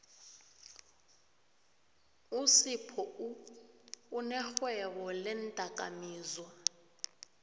usiphou unerhwebo leendakamizwa